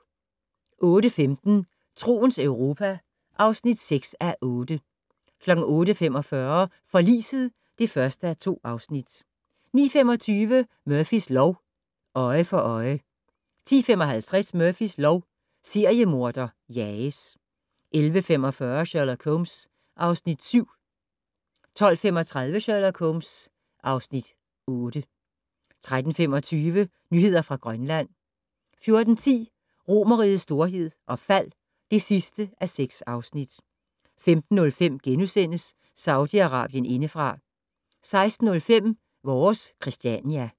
08:15: Troens Europa (6:8) 08:45: Forliset (1:2) 09:25: Murphys lov: Øje for øje 10:55: Murphys lov: Seriemorder jages 11:45: Sherlock Holmes (Afs. 7) 12:35: Sherlock Holmes (Afs. 8) 13:25: Nyheder fra Grønland 14:10: Romerrigets storhed og fald (6:6) 15:05: Saudi-Arabien indefra * 16:05: Vores Christiania